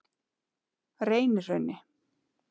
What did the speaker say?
Reynihrauni